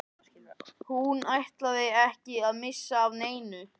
Hún ætlaði ekki að missa af neinu.